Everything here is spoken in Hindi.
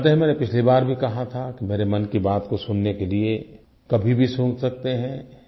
आप जानते हैं मैं पिछली बार भी कहा था कि मेरे मन की बात को सुनने के लिए कभी भी सुन सकते हैं